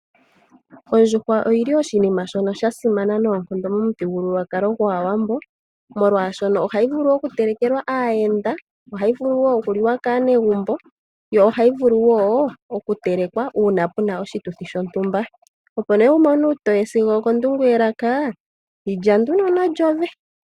Ondjuhwa oyili oshinima shono sha simana noonkondo momuthigululwakalo gwaawambo molwaashoka ohayi vulu oku telekelwa aayenda ,ohayi vulu woo okuliwa kaanegumbo yo ohayi vulu woo oku telekwa uuna pena oshituthi shontumba. Opo nee wumone uutoye sigo okondungu yelaka yilya nduno nomagadhi goongongo.